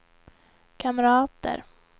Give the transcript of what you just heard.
kamrater